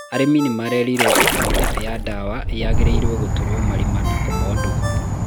arĩmi nĩmerĩrwo ati mĩkembe ya ndawa nyangĩrĩirwo gũtũrwo marima na kũmondwo